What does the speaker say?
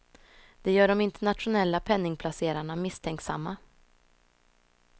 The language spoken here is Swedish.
Det gör de internationella penningplacerarna misstänksamma.